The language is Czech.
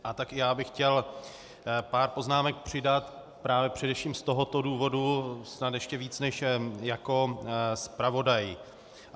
A tak i já bych chtěl pár poznámek přidat právě především z tohoto důvodu, snad ještě víc než jako zpravodaj.